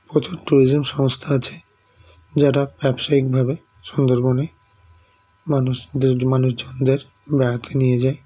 প্রচুর tourism সংস্থা আছে যারা ব্যবসায়ীক ভাবে সুন্দরবনে মানুষদের মানুষজন দের বেড়াতে নিয়ে যায়